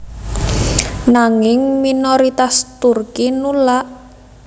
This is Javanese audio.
Nanging minoritas Turki nulak